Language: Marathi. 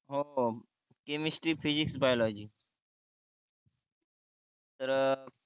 हो हो केमिस्ट्री, फिजिक्स, बायोलॉजी तर